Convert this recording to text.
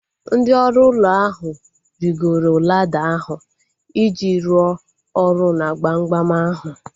Ndị ọrụ ụlọ ahu rigoro lada ahu iji rụọ ọrụ na gbamgbam ahu